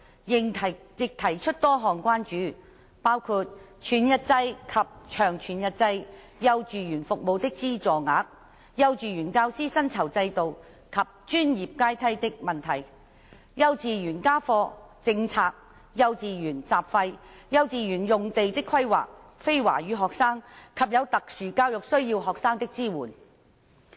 委員亦提出多項關注，包括全日制及長全日制幼稚園服務的資助額、幼稚園教師薪酬制度及專業階梯的問題、幼稚園家課政策、幼稚園雜費、幼稚園用地的規劃、非華語學生及有特殊教育需要學生的支援。